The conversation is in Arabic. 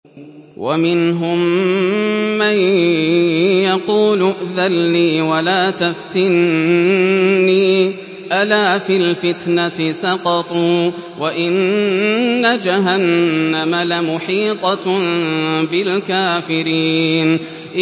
وَمِنْهُم مَّن يَقُولُ ائْذَن لِّي وَلَا تَفْتِنِّي ۚ أَلَا فِي الْفِتْنَةِ سَقَطُوا ۗ وَإِنَّ جَهَنَّمَ لَمُحِيطَةٌ بِالْكَافِرِينَ